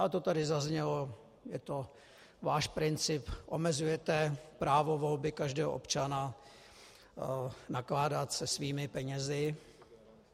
A to tady zaznělo, je to váš princip, omezujete právo volby každého občana nakládat se svými penězi.